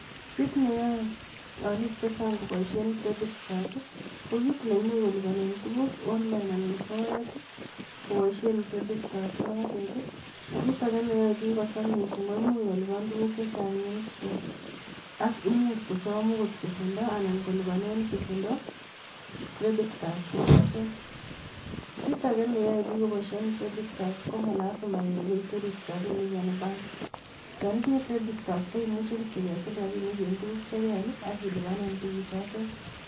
Kit neyoe olik chechang koboishien credit card ko kit neimuch kolipanen tuguuk online anan soet. Koboishien credit card inotet i.Kitage neyoe biik kocham missing ko imuch kolipan tuguuk chechang, ak much kosom okot besendoo anan kolipanen chito besindo Nebo credit card. Kitage neyoe bik koboishien credit card, komalasima iwe. ibeicheru rabinik en benkii, yon itinye credit card koimuche kityok imwaite tuguu k che keal ak ilipanen tuguchotet